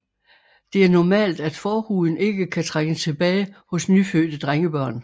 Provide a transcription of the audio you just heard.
Det er normalt at forhuden ikke kan trækkes tilbage hos nyfødte drengebørn